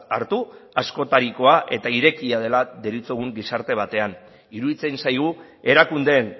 hartu askotarikoa eta irekia dela deritzogun gizarte batean iruditzen zaigu erakundeen